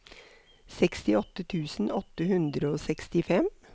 sekstiåtte tusen åtte hundre og sekstifem